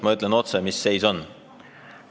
Mina ütlen otse, mis seis on.